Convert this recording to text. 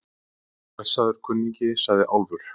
Blessaður, kunningi, sagði Álfur.